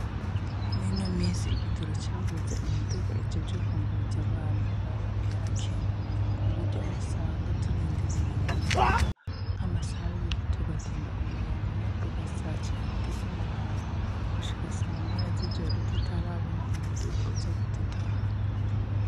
Muri ino minsi igitoro cabuze, imiduga ijejwe kwunguruza abantu nayo yarakenye, kuburyo usanga turindiriye imiduga nk'amasaha abiri tugatonda imirongo nko kuva sacenda z'umurango gushika samoya y'ijoro, tutarabona umuduga uza kudutahana.